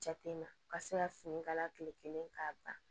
Jatemina ka se ka fini kala kilelen k'a ban